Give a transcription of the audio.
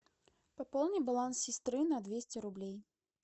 пополни баланс сестры на двести рублей